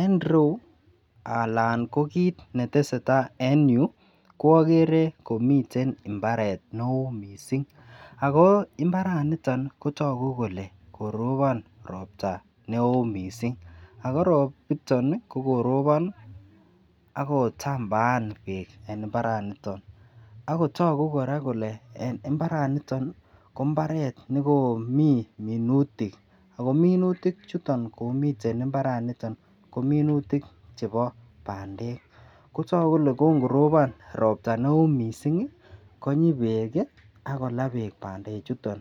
En irou alan ko kit netesetai en yuu ko okere komiten imbaret neo missing ako imbaraniton kotoku kole koropon ropta neo missing ako ropiton nii ko koropon akotambaan beek en imbaraniton akotoku Koraa kole en imbaraniton ko imbaret nekomii minutik ako minutik chuton komiten imbaraniton ko minutik chebo pandek, kotoku kole Kon koropon ropta neo missingi konyi beek kii ak kolaa beek pandek chuton.